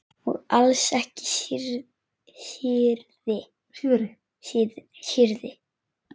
Og alls ekki síðri.